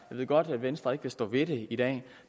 ved godt at venstre ikke vil stå ved det i dag